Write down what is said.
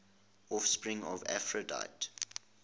offspring of aphrodite